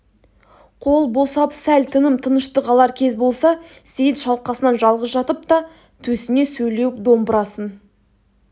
қол босап сәл тыным тыныштық алар кез болса сейіт шалқасынан жалғыз жатып та төсіне сөйлеуік домбырасын